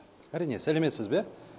әрине сәлеметсіз бе